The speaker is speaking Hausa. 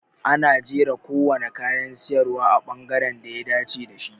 Ana jera kowane kayan siyarwa a bangaren da ya dace da shi.